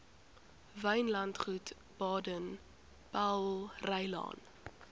wynlandgoed baden powellrylaan